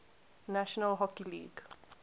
national hockey league